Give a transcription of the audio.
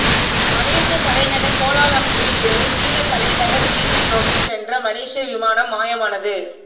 மலேசிய தலைநகர் கோலாலம்பூரில் இருந்து சீன தலைநகர் பீஜிங் நோக்கி சென்ற மலேசிய விமானம் மாயமானது